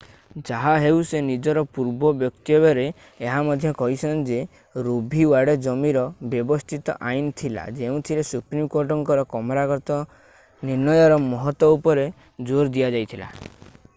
ଯାହାହେଉ ସେ ନିଜର ପୂର୍ବ ବକ୍ତବ୍ୟରେ ଏହା ମଧ୍ୟ କହିଛନ୍ତି ଯେ ରୋ ଭି ୱାଡେ ଜମିର ବ୍ୟବସ୍ଥିତ ଆଇନ୍ ଥିଲା ଯେଉଁଥିରେ ସୁପ୍ରିମକୋର୍ଟଙ୍କର କ୍ରମାଗତ ନିର୍ଣ୍ଣୟର ମହତ୍ତ୍ଵ ଉପରେ ଜୋର ଦିଆଯାଇଥିଲା